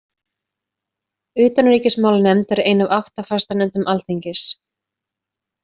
Utanríkismálanefnd er ein af átta fastanefndum alþingis.